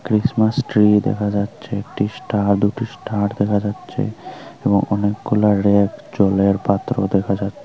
Christmas tree দেখা যাচ্ছে একটি স্টার দুটি স্টার দেখা যাচ্ছে এবং অনেকগুলা রেক জলের পাত্র দেখা যাচ্ছে।